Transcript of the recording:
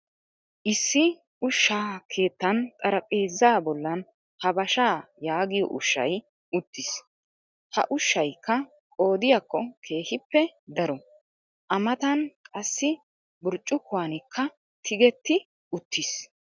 Issi ushshaa keettan xarphpheezaa bollan habashaa yaagiyo ushshay uttiis. Ha ushshaykka qoodiyakko keehippe daro. A matan qassi burccukuwankka tigetti uttiis.